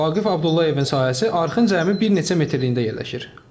Vaqif Abdullayevin sahəsi arxın cəmi bir neçə metərliyində yerləşir.